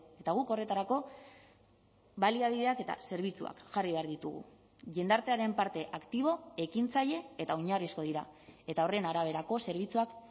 eta guk horretarako baliabideak eta zerbitzuak jarri behar ditugu jendartearen parte aktibo ekintzaile eta oinarrizko dira eta horren araberako zerbitzuak